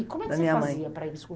E como é que você faz ia para ele